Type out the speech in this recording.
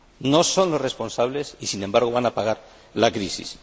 No son los responsables y, sin embargo, van a pagar la crisis.